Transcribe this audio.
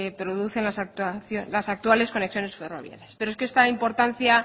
producen las actuales conexiones ferroviarias pero es que esta importancia